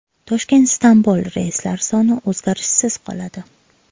Toshkent – Istanbul reyslari soni o‘zgarishsiz qoladi.